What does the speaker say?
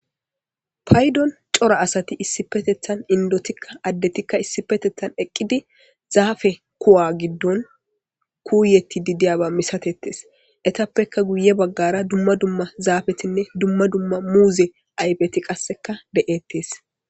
paydon cora asati issi petethan indotikka addetikka issi petethan eqqidi zaafe kuwa giddon kuuyeti di diyaba misatettes etappekka guye baggara dumma dumma zaafetinne dumma dumma muuze aypeti qasseka de7ettes